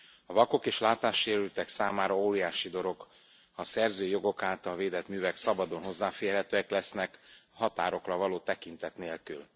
A vakok és látássérültek számára óriási dolog, ha a szerzői jogok által védett művek szabadon hozzáférhetőek lesznek, határokra való tekintet nélkül.